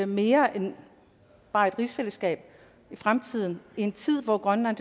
mere end bare et rigsfællesskab i fremtiden i en tid hvor grønland